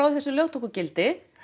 þessi lög tóku gildi